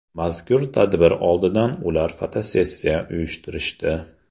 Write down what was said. Mazkur tadbir oldidan ular fotosessiya uyushtirishdi.